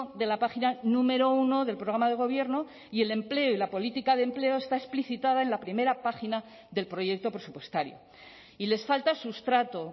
de la página número uno del programa de gobierno y el empleo y la política de empleo está explicitada en la primera página del proyecto presupuestario y les falta sustrato